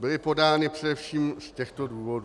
Byly podány především z těchto důvodů.